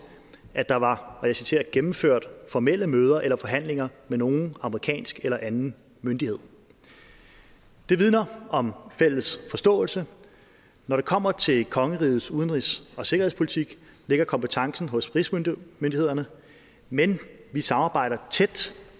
at der var og jeg citerer gennemført formelle møder eller forhandlinger med nogen amerikansk eller anden myndighed det vidner om fælles forståelse når det kommer til kongerigets udenrigs og sikkerhedspolitik ligger kompetencen hos rigsmyndighederne men vi samarbejder tæt